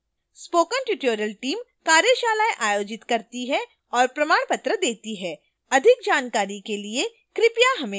spoken tutorial team कार्यशालाएँ आयोजित करती है और प्रमाणपत्र देती है अधिक जानकारी के लिए कृपया हमें लिखें